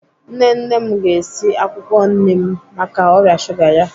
Nne nne m ga-esi akwụkwọ nim maka ọrịa shuga ya.